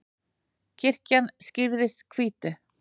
kirkjan skrýðist hvítu